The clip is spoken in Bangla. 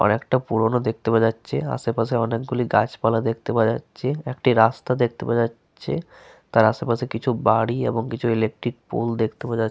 অনেকটা পুরোনো দেখতে পাওয়া যাচ্ছে। আশেপাশে অনেকগুলি গাছপালা দেখতে পাওয়া যাচ্ছে। একটি রাস্তা দেখতে পাওয়া যাচ্ছে। তার আশেপাশে কিছু বাড়ি এবং কিছু ইলেকট্রিক পোল দেখতে পাওয়া যাচ্ --